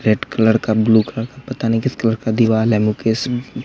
red colour का blue colour का पता नहीं किस कलर का दीवाल है मुकेश--